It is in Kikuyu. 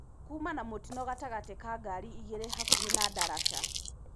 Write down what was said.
Kuuma na mũtino gatagatĩ ka ngari ĩgĩri hakuhi na darasha .